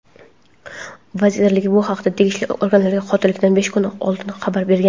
Vazirlik bu haqda tegishli organlarga qotillikdan besh kun oldin xabar bergan.